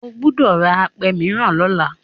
O gbọdọ̀ ra apẹ mìíràn lọ́la.